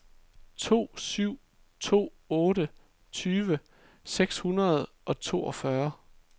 to syv to otte tyve seks hundrede og toogfyrre